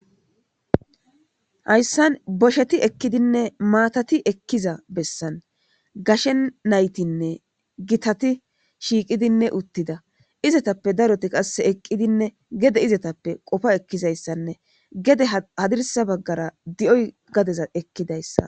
Hayssan bosheti ekkidinne maatati ekkiza bessan gashe naytinne gitati shiiqidinne uttida izatappe daroti qasse eqqidinne gede izatappe qofa ekkizayssanne gede hadirsa baggara di7oy gadeza ekkidayssa.